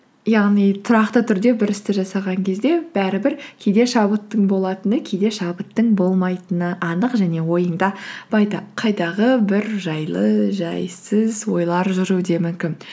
яғни тұрақты түрде бір істі жасаған кезде бәрібір кейде шабыттың болатыны кейде шабыттың болмайтыны анық және ойыңда қайдағы бір жайлы жайсыз ойлар жүруі де мүмкін